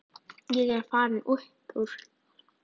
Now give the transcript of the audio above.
Ég er farinn upp úr.